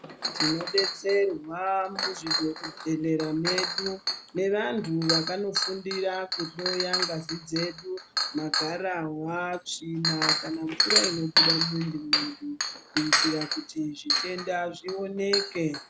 Tinodetserwa muzvibhedhleya medu nevanhu vakanofundira kuhloya ngazi dzedu magarahwa, tsvina kana mvura inobuda mumwiri medu kuitira kuti zvitenda zvioneke.